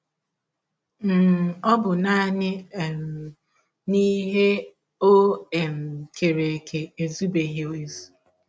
um Ọ bụ nanị um na ihe o um kere eke ezụbeghị ezụ.